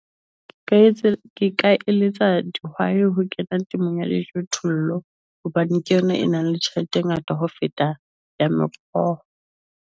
Ka etsa ke ka eletsa di why? ho kena temong ya dijothollo hobane ke yona e nang le tjhelete e ngata ho feta ya mekgoa .